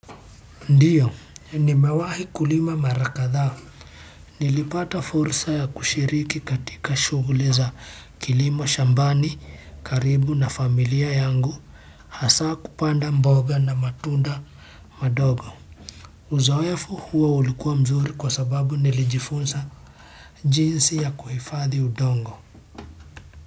Ndiyo nimewahi kulima mara kadhaa nilipata fursa ya kushiriki katika shughuli za kilimo shambani karibu na familia yangu hasa kupanda mboga na matunda madogo uzoefu huo ulikuwa mzuri kwa sababu nilijifunza jinsi ya kuhifadhi udongo.